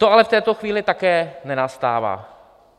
To ale v této chvíli také nenastává.